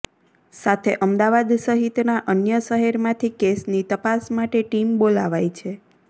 સાથે અમદાવાદ સહિતના અન્ય શહેરમાંથી કેસની તપાસ માટે ટીમ બોલાવાઈ છે